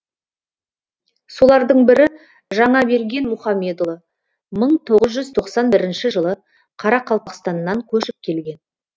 солардың бірі жаңаберген мұхамедұлы мың тоғыз жүз тоқсан бірінші жылы қарақалпақстаннан көшіп келген